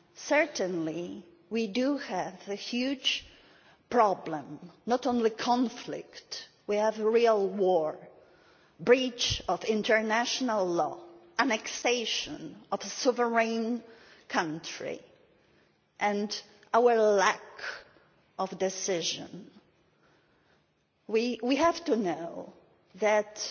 Certainly we have a huge problem not only conflict, we have a real war, breach of international law, annexation of a sovereign country and our lack of decision. We must know that the